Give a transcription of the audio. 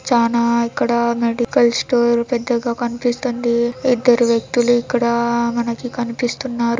చానా ఇక్కడ medical store పెద్దగా కనిపిస్తుంది ఇద్దరు వ్యక్తులు ఇక్కడ మనకి కనిపిస్తున్నారు.